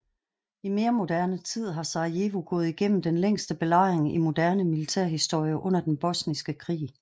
I mere moderne tid har Sarajevo gået igennem den længste belejring i moderne militærhistorie under den bosniske krig